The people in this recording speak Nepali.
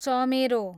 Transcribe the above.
चमेरो